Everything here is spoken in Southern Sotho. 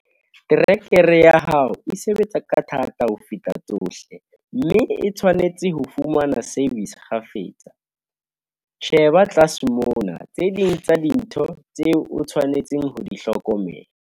Terekere ya hao e sebetsa ka thata ho feta tsohle, mme e tshwanetse ho fumana "service" kgafetsa. Sheba tlase mona tse ding tsa dintho tseo o tshwanetseng ho di hlokomela.